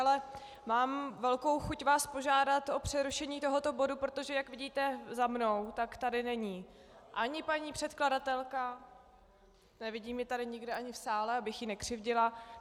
Ale mám velkou chuť vás požádat o přerušení tohoto bodu, protože jak vidíte za mnou, tak tady není ani paní předkladatelka, nevidím ji tady nikde ani v sále, abych jí nekřivdila.